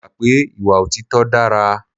Mo gbà pé ìwà òtítọ́ dára.